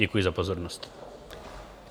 Děkuji za pozornost.